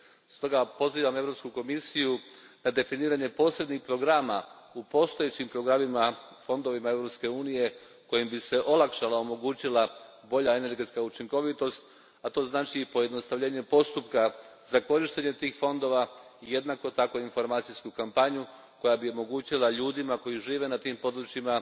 Stoga pozivam Europsku komisiju na definiranje posebnih programa u postojećim programima fondova EU a kojim bi se olakšala i omogućila bolja energetska učinkovitost, a to znači pojednostavljenje postupka za korištenje tih fondova i jednako tako informacijsku kampanju koja bi omogućila ljudima koji žive na tim područjima